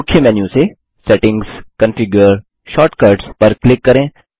मुख्य मेन्यू से settings configure shortcuts पर क्लिक करें